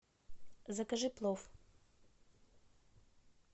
закажи плов